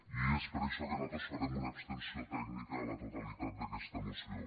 i és per això que nosaltres farem una abstenció tècnica a la totalitat d’aquesta moció